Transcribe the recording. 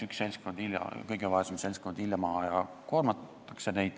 Üks seltskond, kõige vaesem seltskond, jäetakse ilma ja neid koormatakse.